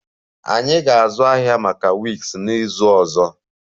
Anyị ga-azụ ahịa maka wigs n'izu ọzọ